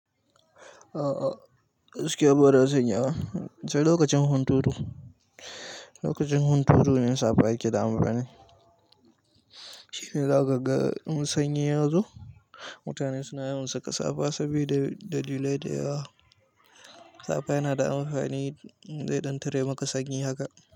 Ah ah, gaskiya bara zan iya ba, sai lokacin hunturu. Lokacin hunturu ne safa yake da amfani. Shine zaka ga in sanyi yazo. Mutane suna yawan saka safa sabida dalilai da yawa. Safa yana da amfani zai dan ɗan tare maka sanyi haka.